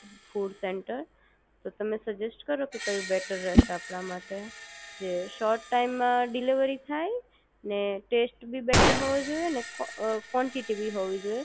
food centre તો તમને suggest કરો કે કઈ બેટર રહેશે આપણા માટે જે સૉર્ટ ટાઈમ માં ડીલેવરી થાય ને ટેસ્ટ પણ બેટર હોવો જોઈએ ને કોન્ટીટી પણ હોવી જોઈએ